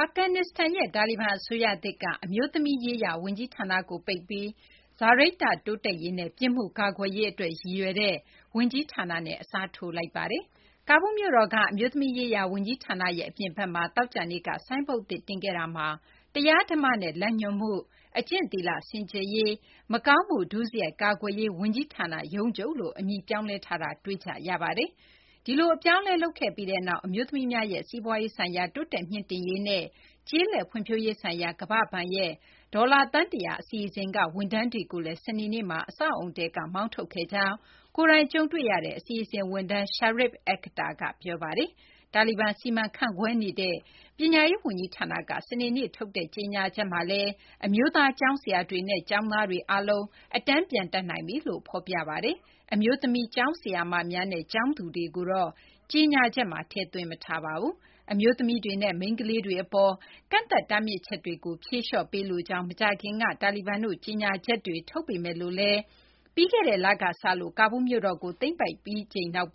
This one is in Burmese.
အာဖဂန်နစ္စတန်နိုင်ငံက တာလီဘန်အစိုးရသစ်က အမျိုးသမီးရေးရာ ဝန်ကြီးဌာနကို ပိတ်ပြီး စာရိတ္တတိုးတက်ရေးနဲ့ ပြစ်မှုကာကွယ်ရေးအတွက် ရည်ရွယ်တဲ့ ဝန်ကြီးဌာနနဲ့ အစားထိုးလိုက်ပါတယ်။ ကာဘူးလ်မြို့တော်က အမျိုးသမီးရေးရာ ဝန်ကြီးဌာနရဲ့ အပြင်ဘက်မှာ သောကြာနေ့က ဆိုင်းဘုတ်သစ်တင်ခဲ့ရာမှာ တရားဓမ္မနဲ့ လမ်းညွှန်မှု၊ အကျင့်သီလ စင်ကြယ်ရေး၊ မကောင်းမှုဒုစရိုက် ကာကွယ်ရေး ဝန်ကြီးဌာန ရုံးချုပ်လို့ အမည်ပြောင်းလဲထားတာ တွေ့ကြရပါတယ်။ ဒီလို အပြောင်းအလဲ လုပ်ခဲ့ပြီးနောက် အမျိုးသမီးများရဲ့ စီးပွားရေးဆိုင်ရာ တိုးတက်မြှင့်တင်ရေးနဲ့ ကျေးလက်ဖွံ့ဖြိုးရေးဆိုင်ရာ ကမ္ဘာ့ဘဏ်ရဲ့ ဒေါ်လာ သန်း ၁၀၀ အစီအစဉ်က ဝန်ထမ်းတွေကိုလည်း စနေနေ့မှာ အဆောက်အအုံထဲကနေ မောင်းထုတ်ခဲ့ကြောင်း ကိုယ်တိုင်ကြုံတွေ့ခဲ့ရတဲ့ အစီအစဉ်ဝန်ထမ်း Sharif Akhtar က ပြောပါတယ်။ တာလီဘန် စီမံခန့်ခွဲနေတဲ့ ပညာရေးဝန်ကြီးဌာနက စနေနေ့မှာထုတ်တဲ့ ကြေညာချက်မှာလည်း အမျိုးသား ကျောင်းဆရာတွေနဲ့ ကျောင်းသားတွေအားလုံး အတန်းပြန်တက်နိုင်ပြီလို့ ဖော်ပြထားပါတယ်။ အမျိုးသမီး ကျောင်းဆရာမတွေနဲ့ ကျောင်းသူတွေကိုတော့ ကြေညာချက်မှာ ထည့်သွင်းမထားပါဘူး။ အမျိုးသမီးတွေနဲ့ မိန်းကလေးတွေအပေါ် ကန့်သတ်တားမြစ်ချက်တွေကို ဖြေလျှော့ပေးလိုကြောင်း မကြာခင်က တာလီဘန်တို့ ကြေညာချက်တွေ ထုတ်ပေမယ်လို့လည်း ပြီးခဲ့တဲ့လ ကာဘူးလ်မြို့တော်ကို သိမ်းပိုက်ပြီးချိန်ကစလို့